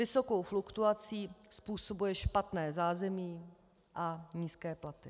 Vysokou fluktuaci způsobuje špatné zázemí a nízké platy.